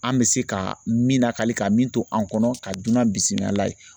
An bɛ se ka min nankali ka min to an kɔnɔ ka dunan bisimila ye.